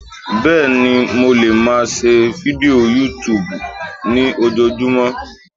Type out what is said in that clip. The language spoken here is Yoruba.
béèni mo le ma ṣe Fidio Youtube ni ojojumọ